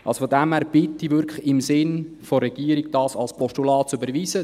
Daher bitte ich wirklich im Sinn der Regierung, dies als Postulat zu überweisen.